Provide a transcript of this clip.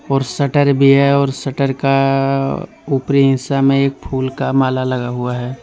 और शटर भी है और शटर का ऊपरी हिस्सा में एक फूल का माला लगा हुआ है।